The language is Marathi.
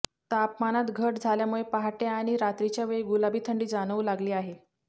तापमानात घट झाल्यामुळे पहाटे आणि रात्रीच्या वेळी गुलाबी थंडी जाणवू लागली आहे